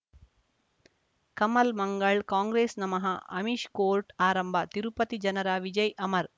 ಕಮಲ್ ಮಂಗಳ್ ಕಾಂಗ್ರೆಸ್ ನಮಃ ಅಮಿಷ್ ಕೋರ್ಟ್ ಆರಂಭ ತಿರುಪತಿ ಜನರ ವಿಜಯ್ ಅಮರ್